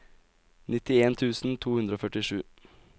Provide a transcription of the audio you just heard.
nittien tusen to hundre og førtisju